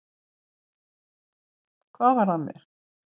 Hvað var að mér?